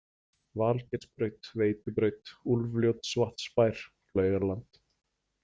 Valgeirsbraut, Veitubraut, Úlfljótsvatnsbær, Laugarland